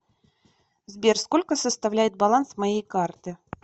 сбер сколько составляет баланс моей карты